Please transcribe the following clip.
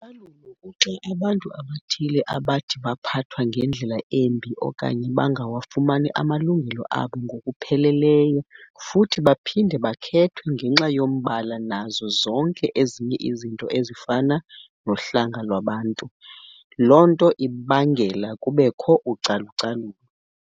kuxa abantu abathile abathi baphathwe ngendlela embi okanye bangawafumani amalungelo abo ngokupheleleyo futhi baphinde bakhethwe ngenxa yombala nazo zonke ezinye izinto ezifana nohlanga lwabantu lonto ibangela kubekho ucalucalulo.